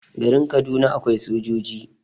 garin Kaduna akwai sojoji